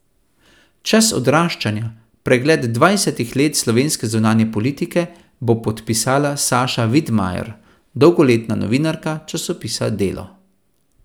Čas odraščanja, pregled dvajsetih let slovenske zunanje politike, bo podpisala Saša Vidmajer, dolgoletna novinarka časopisa Delo.